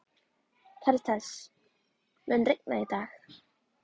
Karítas, mun rigna í dag?